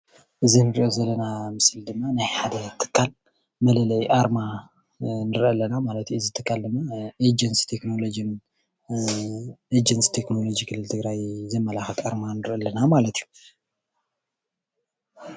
እዚ ንርኦ ዘለና ምስሊ ድማ ናይ ሓደ ትካል መለለይ ኣርማ ንርኢ ኣለና ማለት እዩ። እዚ ትካል ድማ ኤጀንሲ ቴክኖሎጂ ኤጀንሲ ቴክኖሎጂ ክልል ትግራይ ዘመላኸት ኣርማ ንርኢ ኣለና ማለት እዩ።